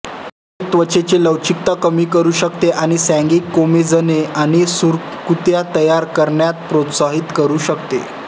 हे त्वचेची लवचिकता कमी करू शकते आणि सॅगिंग कोमेजनेआणि सुरकुत्या तयार करण्यास प्रोत्साहित करू शकते